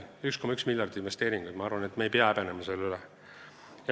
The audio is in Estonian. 1,1 miljardit investeeringuid – ma arvan, et me ei pea seda häbenema.